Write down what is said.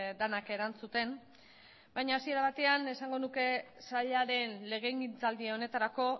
denak erantzuten baina hasiera batean esango nuke sailaren legegintzaldi honetarako